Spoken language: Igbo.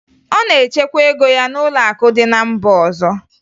Ọ na-echekwa ego ya n'ụlọakụ dị na mba ọzọ